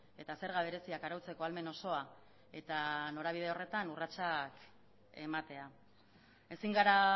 eta zerga bereziak arautzeko ahalmen osoa eta norabide horretan urratsak ematea ezin gara